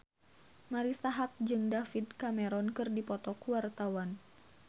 Marisa Haque jeung David Cameron keur dipoto ku wartawan